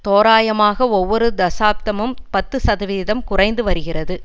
தோராயமாக ஒவ்வொரு தசாப்தமும் பத்து சதவிகிதம் குறைந்து வருகிறது